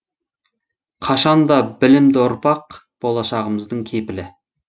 қашан да білімді ұрпақ болашағымыздың кепілі